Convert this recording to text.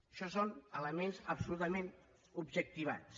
això són elements absolutament objectivats